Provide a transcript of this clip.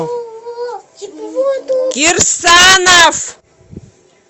кирсанов